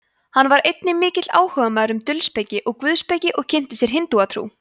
hann var einnig mikill áhugamaður um dulspeki og guðspeki og kynnti sér hindúatrú